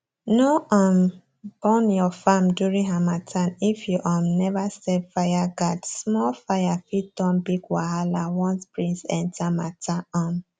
no um burn your farm during harmattan if you um never set fireguardsmall fire fit turn big wahala once breeze enter matter um